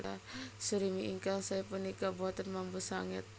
Surimi ingkang saé punika boten mambu sanget